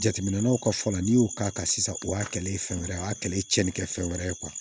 Jateminɛw ka fɔ la n'i y'o k'a kan sisan o y'a kɛlɛ ye fɛn wɛrɛ o y'a kɛlɛ ye tiɲɛni kɛ fɛn wɛrɛ ye